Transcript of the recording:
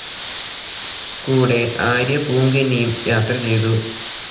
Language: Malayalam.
കൂടെ ആര്യപൂങ്കന്നിയും യാത്ര ചെയ്തു.